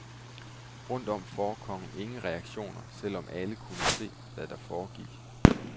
Rundt om forekom ingen reaktioner, selv om alle kunne se, hvad der foregik.